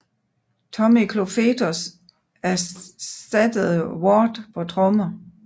Tommy Clufetos ersattede Ward på trommer